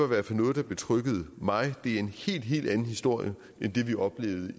hvert fald noget der betryggede mig det er en helt helt anden historie end det vi oplevede